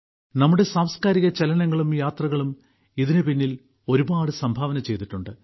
നമ്മുടെ സാംസ്കാരിക ചലനങ്ങളും യാത്രകളും ഇതിന് പിന്നിൽ ഒരുപാട് സംഭാവന ചെയ്തിട്ടുണ്ട്